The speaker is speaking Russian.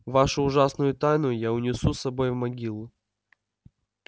вашу ужасную тайну я унесу с собой в могилу